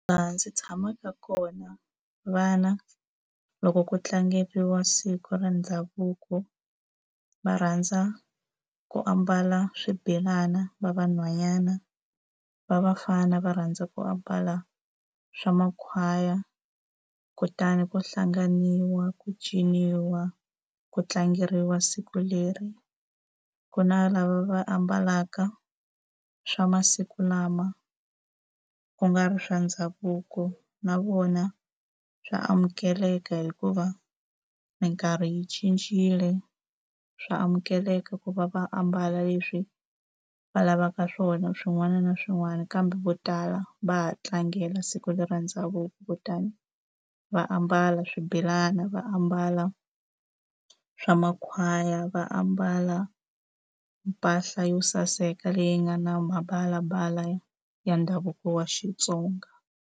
Laha ndzi tshamaka kona vana loko ku tlangeriwa siku ra ndhavuko, va rhandza ku ambala swibelana va vanhwanyana, va vafana va rhandza ku ambala swa makhwaya. Kutani ku hlanganiwa, ku ciniwa, ku tlangeriwa siku leri. Ku na lava va ambalaka swa masiku lama ku nga ri swa ndhavuko, na vona swa amukeleka hikuva minkarhi yi cincile. Swa amukeleka ku va va ambala leswi va lavaka swona swin'wana na swin'wana kambe vo tala va ha tlangela siku leri ra ndhavuko. Kutani va ambala swibelani, va ambala swa makhwaya, va ambala mpahla yo saseka leyi nga na mavalavala ya ndhavuko wa Xitsonga.